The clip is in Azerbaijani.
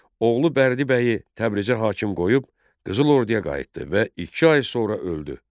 Oğlu Bərdibəyi Təbrizə hakim qoyub, Qızıl Orduya qayıtdı və iki ay sonra öldü.